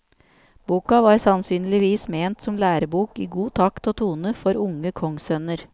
Boka var sannsynligvis ment som lærebok i god takt og tone, for unge kongssønner.